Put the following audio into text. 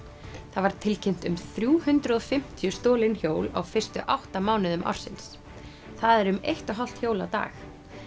það var tilkynnt um þrjú hundruð og fimmtíu stolin hjól á fyrstu átta mánuðum ársins það er um eitt og hálft hjól á dag